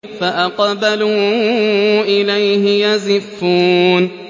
فَأَقْبَلُوا إِلَيْهِ يَزِفُّونَ